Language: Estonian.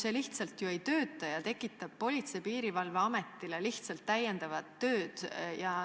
See lihtsalt ju ei tööta ja tekitab Politsei- ja Piirivalveametile lihtsalt täiendavat tööd.